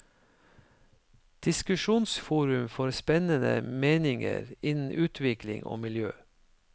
Diskusjonsforum for spennende meninger innen utvikling og miljø.